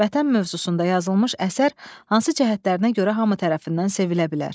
Vətən mövzusunda yazılmış əsər hansı cəhətlərinə görə hamı tərəfindən sevilə bilər?